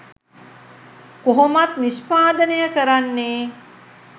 කොහොමත් නිෂ්පාදනය කරන්නෙ